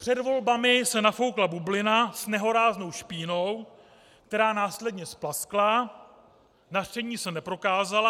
Před volbami se nafoukla bublina s nehoráznou špínou, která následně splaskla, nařčení se neprokázala.